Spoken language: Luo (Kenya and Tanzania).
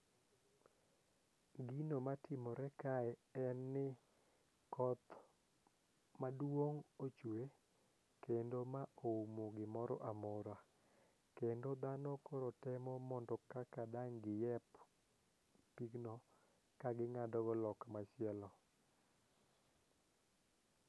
Gino matimore kae en ni koth maduong' ochue kendo ma oumo gimoro amora kendo dhano koro temo mondo dang' gi hep pigno ka gi ng'ado go loka machielo